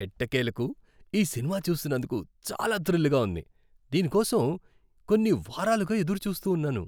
ఎట్టకేలకు ఈ సినిమా చూస్తున్నందుకు చాలా థ్రిల్గా ఉంది! దీని కోసం కొన్ని వారాలుగా ఎదురు చూస్తూ ఉన్నాను.